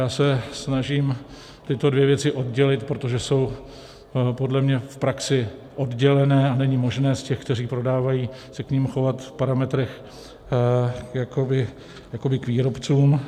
Já se snažím tyto dvě věci oddělit, protože jsou podle mě v praxi oddělené a není možné z těch, kteří prodávají, se k nim chovat v parametrech jakoby k výrobcům.